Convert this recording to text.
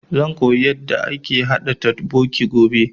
Zan koya yanda ake haɗa totbokki gobe